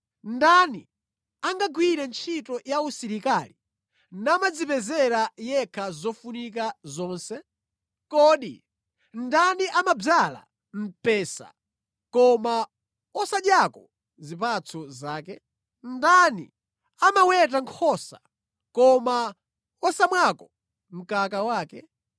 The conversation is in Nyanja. Ndani angagwire ntchito ya usilikali namadzipezera yekha zofunika zonse? Kodi ndani amadzala mpesa koma wosadyako zipatso zake? Ndani amaweta nkhosa koma wosamwako mkaka wake?